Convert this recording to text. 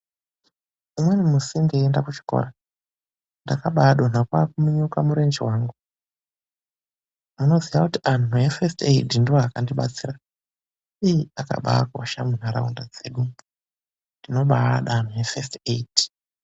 Umweni musi ndeinda kuchikora ndakabadonha kwakuminyuka murenje wangu anoziya kuti antu efesiti eidhi ndoakabandibetsera iii akabakosha munharaunda dzedu tinobaada antu efesiti eidhi.